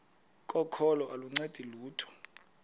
kokholo aluncedi lutho